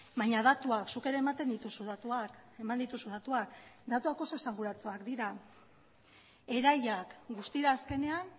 baina datuak zuk ere ematen dituzu datuak eman dituzu datuak datuak oso esanguratsuak dira erailak guztira azkenean